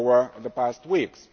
over the past weeks.